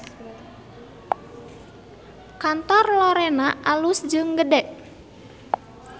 Kantor Lorena alus jeung gede